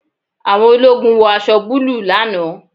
Àwọn ológun wọ aṣọ búlúù lánàá